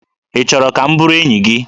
Ị chọrọ ka m bụrụ enyi gị?